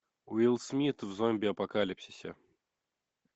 уилл смит в зомби апокалипсисе